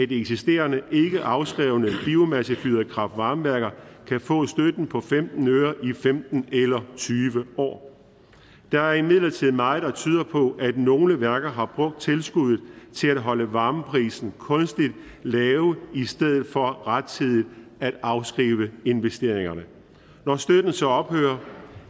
de eksisterende ikke afskrevne biomassefyrede kraft varme værker kan få støtten på femten øre i femten eller tyve år der er imidlertid meget der tyder på at nogle værker har brugt tilskuddet til at holde varmeprisen kunstigt lav i stedet for rettidigt at afskrive investeringerne når støtten så ophører